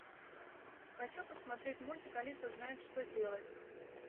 хочу посмотреть мультик алиса знает что делать